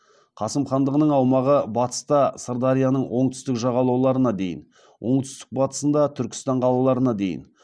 қасым хандығының аумағы батыста сырдарияның оңтүстік жағалауларына дейін оңтүстік батысында түркістан қалаларына дейін